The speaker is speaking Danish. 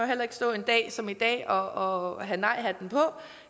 heller ikke stå en dag som i dag og have nejhatten på